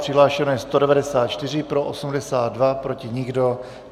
Přihlášeno je 194, pro 82, proti nikdo.